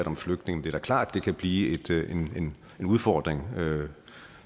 om flygtninge det er klart at det kan blive en udfordring